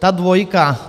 Ta dvojka.